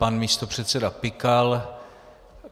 Pan místopředseda Pikal.